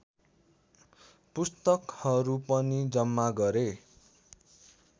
पुस्तकहरू पनि जम्मा गरे